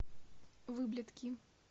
выблядки